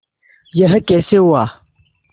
यह कैसे हुआ